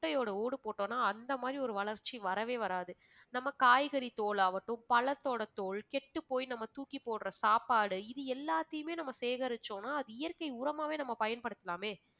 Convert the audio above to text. முட்டையோட ஓடு போட்டோம்னா அந்த மாறி ஒரு வளர்ச்சி வரவே வராது. நம்ம காய்கறி தோலாவட்டும் பழத்தோட தோல் கெட்டுப் போய் நம்ம தூக்கி போடுற சாப்பாடு இது எல்லாத்தையுமே நம்ம சேகரிச்சோம்னா அது இயற்கை உரமாகவே நம்ம பயன்படுத்தலாமே